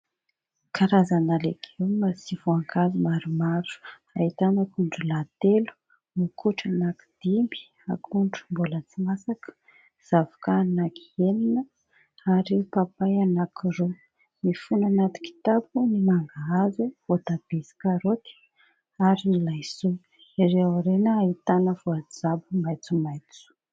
Karazana legioma sy voankazo maromaro: ahitana akondro lahy telo, mokotry anaky dimy, akondro mbola tsy masaka, zavoka anaky enina, ary papay anaky roa. Mifono anaty kitapo ny mangahazo, voatabia ,sy karôty ,ary ny laisoa. Ery aoriana, ahitana voajabo maitsomaitso.